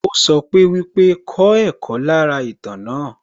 Ó sọ pé wípé, 'kọ́ ẹ̀kọ́ lára ìtàn náà'